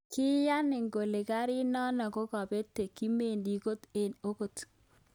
Kiyaaani kele garit nano kokopet, kimendi kot en kot.